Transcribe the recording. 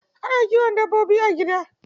Ana kiwon dabbobi a gida.